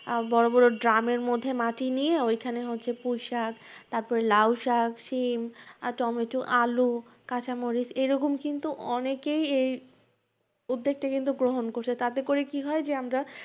আহ বড় বড় ড্রামের মধ্যে মাটি নিয়া ঐখানে হচ্ছে পুঁইশাক তারপরে লাউশাক, শিম, আহ টমেটো, আলু, কাঁচামরিচ এরকম কিন্তু অনেকেই এই উদ্যোগটা কিন্তু গ্রহণ করছে। তাতে করে কি হয় যে আমরা